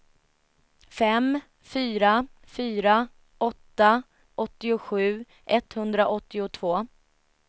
fem fyra fyra åtta åttiosju etthundraåttiotvå